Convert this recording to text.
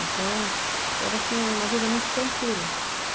Então, era assim, uma vida muito tranquila.